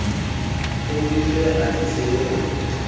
kgodise ha di tshehe tswe